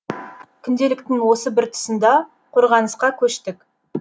күнделіктің осы бір тұсында қорғанысқа көштік